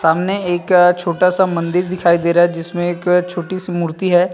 सामने एक छोटा सा मंदिर दिखाई दे रहा है जिसमें एक छोटी सी मूर्ति है।